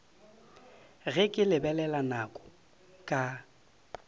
ge ke lebelela nako ka